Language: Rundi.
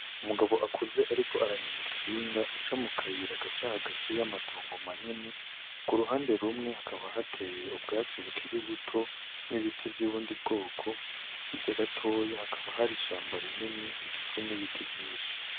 Umugabo akuze, ariko aranyongikinga aca mu kayira agaca hagati y'amatongo manini ku ruhande rumwe hakaba hateye ubwatsi bukiri buto n'ibiti vy'ubundi bwoko hirya gatoya hakaba hari ishamba rinini rigizwe n'ibiti vyinshi.